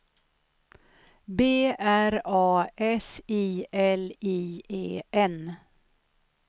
B R A S I L I E N